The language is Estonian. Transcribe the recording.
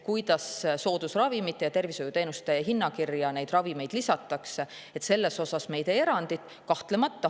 Selles osas me ei tee erandit, kuidas neid ravimeid soodusravimite ja tervishoiuteenuste hinnakirja lisatakse.